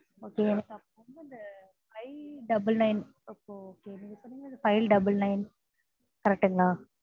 okay எனக்கு அப்போ இந்த five double nine okay correct ங்களா?